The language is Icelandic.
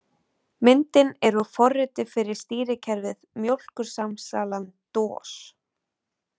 Myndin er út forriti fyrir stýrikerfið Mjólkursamsalan-DOS.